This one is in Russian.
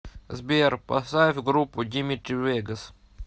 сбер поставь группу димитри вегас